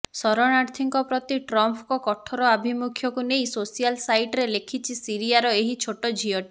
ଶରଣାର୍ଥୀଙ୍କ ପ୍ରତି ଟ୍ରମ୍ପଙ୍କ କଠୋର ଆଭିମୁଖ୍ୟକୁ ନେଇ ସୋସିଆଲ ସାଇଟରେ ଲେଖିଛି ସିରିୟାର ଏହି ଛୋଟ ଝିଅଟି